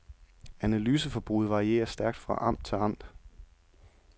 Analyseforbruget varierer stærkt fra amt til amt.